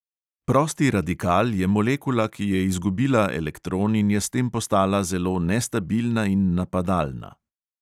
Prosti radikal je molekula, ki je izgubila elektron in je s tem postala zelo nestabilna in napadalna.